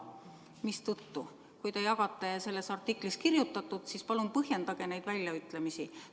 Mistõttu, kui te jagate selles artiklis kirjutatut, palun põhjendage neid väljaütlemisi.